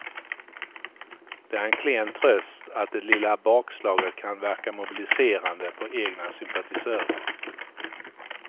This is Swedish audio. Det är klen tröst att det lilla bakslaget kan verka mobiliserande på egna sympatisörer.